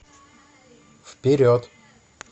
вперед